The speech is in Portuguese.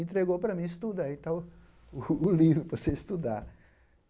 Entregou para mim, estuda aí está o o livro para você estudar.